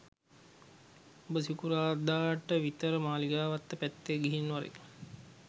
උඹ සිකුරාද ට විතර මාලිගාවත්ත පැත්තෙ ගිහින් වරෙන්